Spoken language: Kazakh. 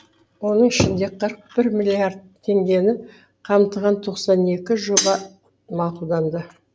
оның ішінде қырық бір миллиард теңгені қамтыған тоқсан екі жоба мақұлданды